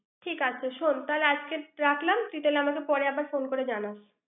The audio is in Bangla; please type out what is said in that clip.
ঠিক আছে শোন, আজ তাহলে রাখলাম। তুই তাহলে আমাকে পরে আবার ফোন করে জানাস।